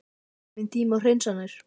Er kominn tími á hreinsanir?